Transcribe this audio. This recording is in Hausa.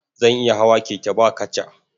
Zan iya hawa keke ba kaca.